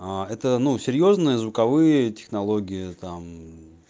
аа это ну серьёзно звуковые технологии там мм